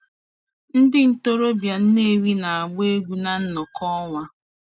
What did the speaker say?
Ndị ntorobịa Nnewi na-agba egwu na nnọkọ ọnwa.